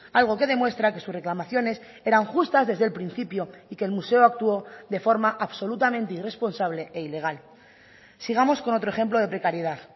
algo que demuestra que sus reclamaciones eran justas desde el principio y que el museo actuó de forma absolutamente irresponsable e ilegal sigamos con otro ejemplo de precariedad